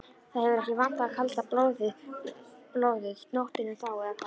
Það hefur ekki vantað kalda blóðið nóttina þá, eða hvað?